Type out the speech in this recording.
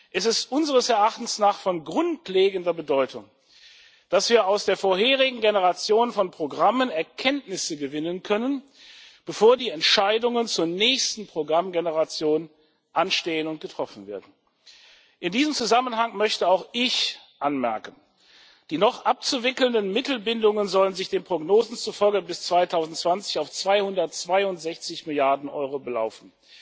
Es ist unseres Erachtens von grundlegender Bedeutung, dass wir aus der vorherigen Generation von Programmen Erkenntnisse gewinnen können, bevor die Entscheidungen zur nächsten Programmgeneration anstehen und getroffen werden. In diesem Zusammenhang möchte auch ich anmerken Die noch abzuwickelnden Mittelbindungen sollen sich den Prognosen zufolge bis 2020 auf 262 Milliarden Euro belaufen.